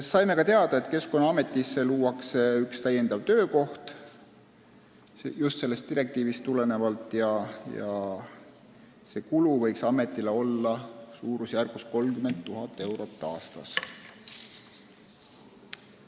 Veel selgus, et Keskkonnaametisse luuakse sellest direktiivist tulenevalt üks täiendav töökoht ja see kulu võiks ametile olla suurusjärgus 30 000 eurot aastas.